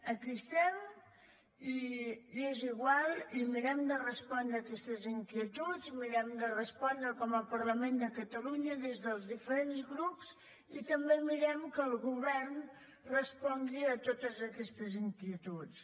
aquí estem i és igual i mirem de respondre aquestes inquietuds mirem de respondre com a parlament de catalunya des dels diferents grups i també mirem que el govern respongui a totes aquestes inquietuds